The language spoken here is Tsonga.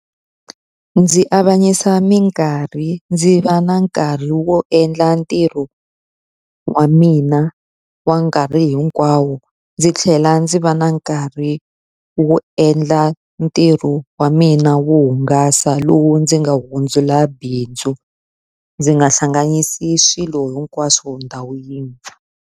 Ndzi avanyisa minkarhi, ndzi va na nkarhi wo endla ntirho wa mina wa nkarhi hinkwawo. Ndzi tlhela ndzi va na nkarhi ri wu endla ntirho wa mina wo hungasa lowu ndzi nga hundzula bindzu. Ndzi nga hlanganisi swilo hinkwaswo ndhawu yin'we.